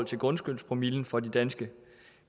til grundskyldspromillen for de danske